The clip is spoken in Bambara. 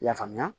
I y'a faamuya